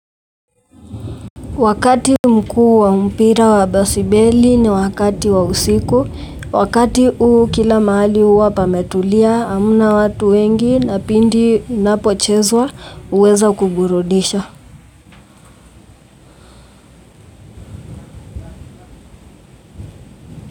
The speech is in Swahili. Wakati mkuu wa mpira wa basibeli ni wakati wa usiku, wakati huu kila mahali huwa pametulia, hamna watu wengi na pindi napochezwa huweza kuburudisha.